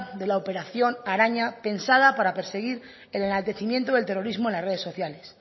de la operación araña pensada para perseguir el enaltecimiento del terrorismo en las redes sociales